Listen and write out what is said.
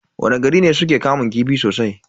Wani gari ne suke kamun kifi sosai?